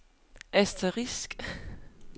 asterisk